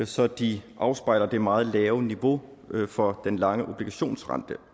så de afspejler det meget lave niveau for den lange obligationsrente